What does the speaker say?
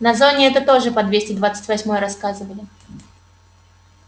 на зоне это тоже по двести двадцать восьмой рассказывали